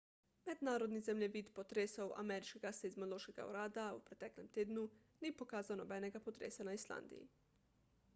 mednarodni zemljevid potresov ameriškega seizmološkega urada v preteklem tednu ni pokazal nobenega potresa na islandiji